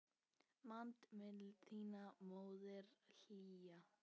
Man mildi þína móðirin hlýja.